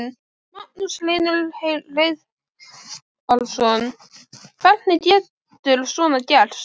Magnús Hlynur Hreiðarsson: Hvernig getur svona gerst?